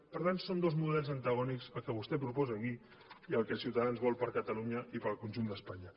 per tant són dos models antagònics el que vostè proposa aquí i el que ciutadans vol per a catalunya i per al conjunt d’espanya